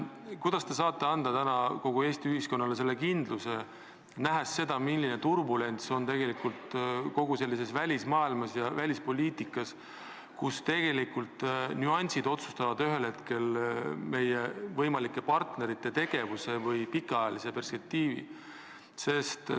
Kuidas te saate anda kogu Eesti ühiskonnale selle kindluse, nähes seda, milline turbulents on tekkinud välismaailmas ja välispoliitikas, kus tegelikult nüansid võivad ühel hetkel otsustada meie võimalike partnerite tegevuse või pikaajalise perspektiivi?